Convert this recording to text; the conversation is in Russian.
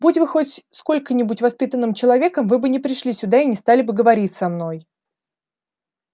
будь вы хоть сколько-нибудь воспитанным человеком вы бы не пришли сюда и не стали бы говорить со мной